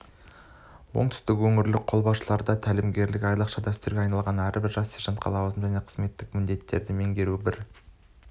оңтүстік өңірлік қолбасшылығында тәлімгерлік айрықша дәстүрге айналған әрбір жас сержантқа лауазымды және қызметтік міндеттерді меңгеруде бір